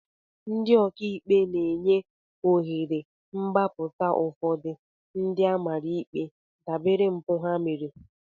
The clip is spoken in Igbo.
Ndị ọka ikpe na-enye ohere mgbapụta ụfọdụ ndị a mara ikpe dabere mpụ ha mere